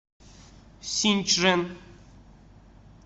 синьчжэн